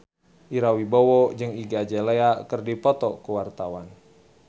Ira Wibowo jeung Iggy Azalea keur dipoto ku wartawan